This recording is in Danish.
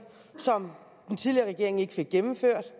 som den tidligere regering ikke fik gennemført